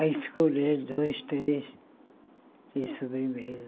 Aí escolheram dois, três de sobremesa.